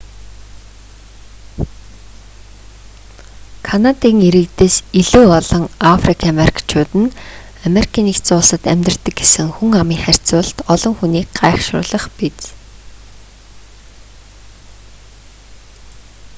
канадын иргэдээс илүү олон африк америкчууд нь ану-д амьдардаг гэсэн хүн амын харьцуулалт олон хүнийг гайхашруулах биз